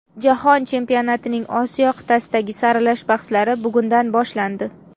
Jahon chempionatining Osiyo qit’asidagi saralash bahslari bugundan boshlandi.